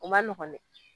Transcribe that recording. O ma nɔgɔn dɛ